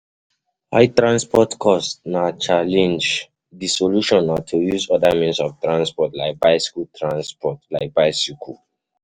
High transport cost na challenge, di solution na to use oda means of transport like bicycle transport like bicycle